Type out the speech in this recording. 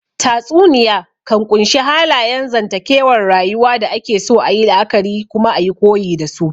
Tatsuniya kan ƙunshi halayen zantakewar rayuwa da ake so ayi la'akari kuma ayi koyi dasu